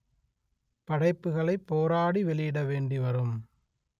படைப்புகளை போராடி வெளியிட வேண்டி வரும்